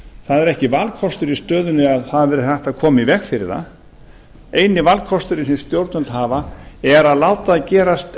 það er ekki valkostur í stöðunni að það verði hægt að koma í veg fyrir það eini valkosturinn sem stjórnvöld hafa er ef þau